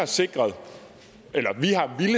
sikre